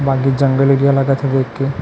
बाकि जंगल एरिया लागा थे देख के--